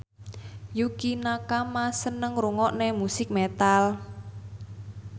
Yukie Nakama seneng ngrungokne musik metal